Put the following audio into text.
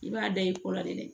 I b'a da i kɔ la de